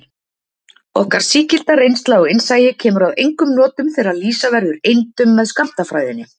Okkar sígilda reynsla og innsæi kemur að engum notum þegar lýsa verður eindum með skammtafræðinni.